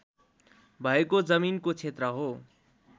भएको जमिनको क्षेत्र हो